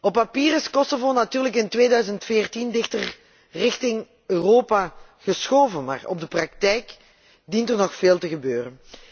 Op papier is Kosovo natuurlijk in 2014 dichter naar Europa toe geschoven maar in de praktijk dient er nog veel te gebeuren.